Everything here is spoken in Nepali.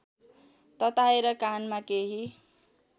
तताएर कानमा केही